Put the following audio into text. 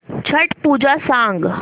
छट पूजा सांग